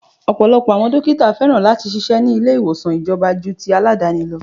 Ọ̀pọ̀lọpọ̀ àwọn dókítà féràn láti ṣíṣe ni ilé ìwòsàn ìjọba ju ti Aládàáni lọ.